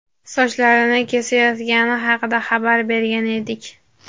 sochlarini kesayotgani haqida xabar bergan edik.